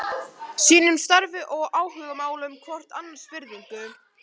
Sýnum starfi og áhugamálum hvort annars virðingu.